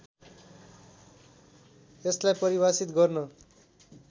यसलाई परिभाषित गर्न